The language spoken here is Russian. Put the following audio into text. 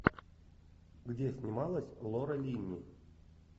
где снималась лора линни